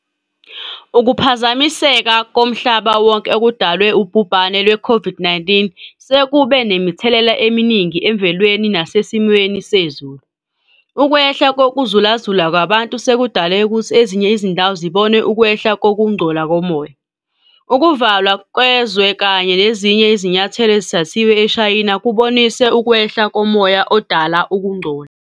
Ukuphazamiseka komhlaba wonke okudalwe ubhubhane lwe-COVID-19 sekube nemithelela eminingi emvelweni nasesimeni sezulu. Ukwehla kokuzulazula kwabantu sekudale ukuthi ezinye izindawo zibone ukwehla kokungcola komoya. Ukuvalwa kezwe kanye nezinye izinyathelo ezithathiwe eShayina kubonise ukwehla komoya odala ukugcola.